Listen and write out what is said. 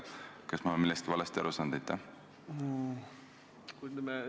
Kas ma olen millestki valesti aru saanud?